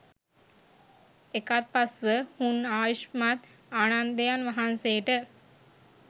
එකත්පස් ව හුන් ආයුෂ්මත් ආනන්දයන් වහන්සේට